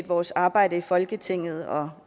vores arbejde i folketinget og